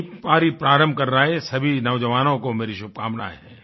नयी पारी प्रारम्भ कर रहे हैं सभी नौजवानों को मेरी शुभकामनाएं हैं